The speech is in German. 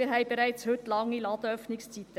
Wir haben bereits heute lange Ladenöffnungszeiten.